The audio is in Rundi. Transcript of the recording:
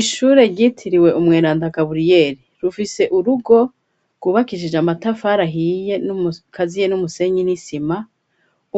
Ishure ryitiriwe umweranda Gaburiyeri. Rufise urugo rwubakishije amatafari ahiye akaziye n'umusenyi n'isima,